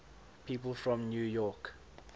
people from york